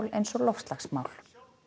eins og loftslagsmál